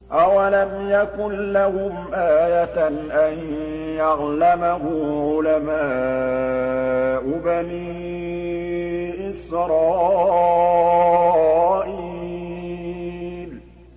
أَوَلَمْ يَكُن لَّهُمْ آيَةً أَن يَعْلَمَهُ عُلَمَاءُ بَنِي إِسْرَائِيلَ